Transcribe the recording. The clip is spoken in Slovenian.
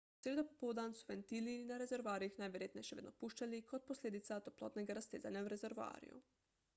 v sredo popoldan so ventili na rezervoarjih najverjetneje še vedno puščali kot posledica toplotnega raztezanja v rezervoarju